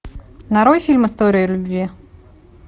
нарой фильм история любви